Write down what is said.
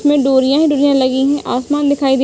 इसमें डोरियाँ है डोरियाँ लगी हैं आसमान दिखाई दे --